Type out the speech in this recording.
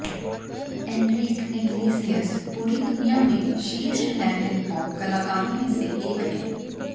Anrich Iglesias पूरी दुनिया में शीर्ष लैटिन पॉप कलाकारों में से एक है